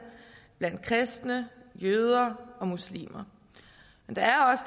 blandt kristne jøder og muslimer der er